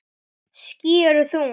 Ský eru þung.